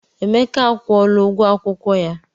Emeka akwụla ụgwọ akwụkwọ ya.